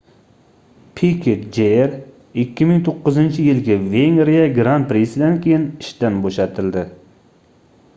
piket jr 2009-yilgi vengriya gran-prisidan keyin ishdan boʻshatildi